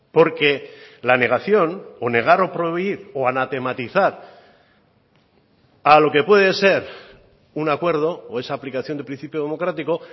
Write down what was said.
porque la negación o negar o prohibir o anatematizar a lo que puede ser un acuerdo o esa aplicación de principio democrático